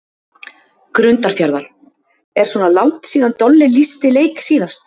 Grundarfjarðar: Er svona langt síða Dolli lýsti leik síðast?